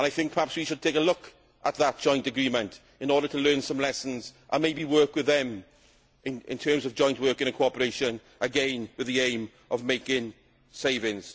I think perhaps we should take a look at that joint agreement in order to learn some lessons and maybe work with them in terms of joint work and cooperation, again with the aim of making savings.